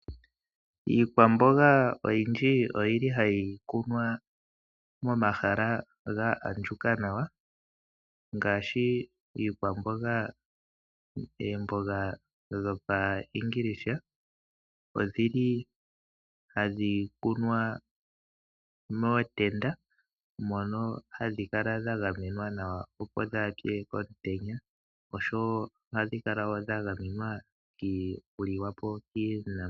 Iikwamboga oyindji oyi li hayi kunwa momahala ga andjuka nawa ngaashi iikwamboga oomboga dhoPashiingilisa odhi li hadhi kunwa mootenda mono hadhi kala dha gamenwa nawa opo dhaa pye komutenya oshowo ohadhi kala wo dha gamenwa okuliwa po kiinamwenyo.